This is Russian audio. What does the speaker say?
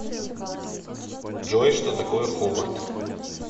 джой что такое хобарт